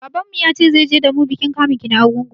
Babanmu ya ce zai je da mu bikin kamun ki na Arugungu.